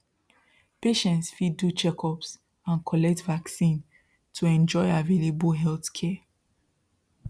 patients fit do checkups and collect vaccines to enjoy available healthcare